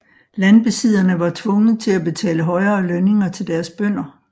Landbesidderne var tvunget til at betale højere lønninger til deres bønder